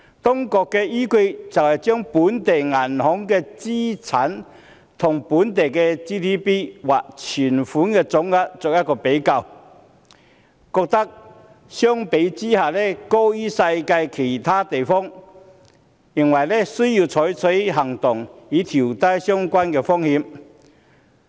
當局的依據是，將本地銀行的資產與本地的 GDP 或存款總額作比較，發現相關的比率高於世界其他地方，需要採取行動，以調低相關的風險。